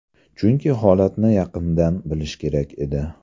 Chunki holatni yaqindan bilish kerak edi.